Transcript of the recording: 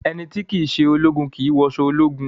Ẹni tí kìí ṣe ológun kìí wọṣọ ológun